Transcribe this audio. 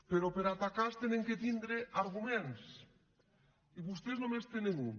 però per atacar s’han de tindre arguments i vostès només en tenen un